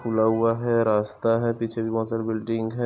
खुला हुआ है रास्ता है पिछे भी बोहोत सारी बिल्डिंग है।